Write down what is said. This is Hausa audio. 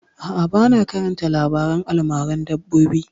A'a, ba na karanta labaren almaran dabbobi